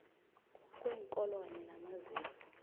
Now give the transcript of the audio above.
kweenkolo kanye namaziko